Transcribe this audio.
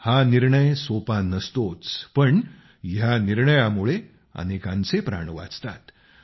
हा निर्णय सोपा नसतोच पण ह्या निर्णयामुळे अनेकांचे प्राण वाचतात